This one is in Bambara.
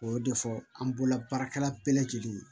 O y'o de fɔ an bolola baarakɛla bɛɛ lajɛlen ye